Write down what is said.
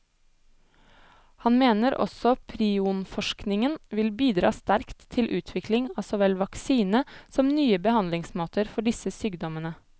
Han mener også prionforskningen vil bidra sterkt til utvikling av så vel vaksine som nye behandlingsmåter for disse sykdommene.